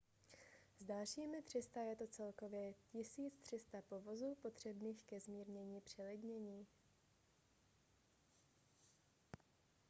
s dalšími 300 je to celkově 1 300 povozů potřebných ke zmírnění přelidnění